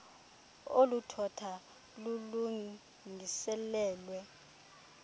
olu thotho lulungiselelwe